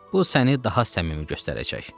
Bu səni daha səmimi göstərəcək.